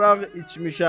Araq içmişəm.